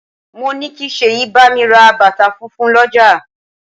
Mo ní kí Sèyí bámi ra bàtà funfun l'ọja